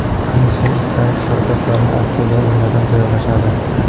Alisher Isayev Sharbatlarni aslida nimadan tayyorlashadi?